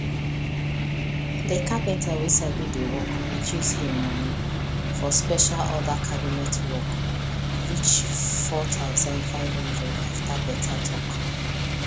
the carpenter wey sabi the work reduce him money for special order cabinet work reach 4500 after better talk